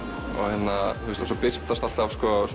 og svo birtast alltaf